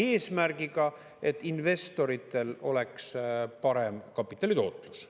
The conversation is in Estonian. Eesmärgiga, et investoritel oleks parem kapitalitootlus.